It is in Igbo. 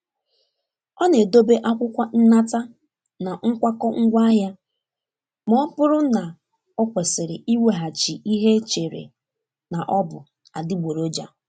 Ọ na-edobe akwụkwọ nnata na nkwakọ ngwaahịa ma ọ bụrụ na ọ kwesịrị iweghachi ihe e chere na ọ bụ adịgboroja.